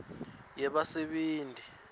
yabasebenti